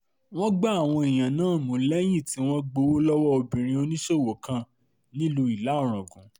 wọ́n gbá àwọn èèyàn náà mú lẹ́yìn tí wọ́n gbowó lọ́wọ́ obìnrin oníṣòwò kan nílùú ìlà-rọ́gùn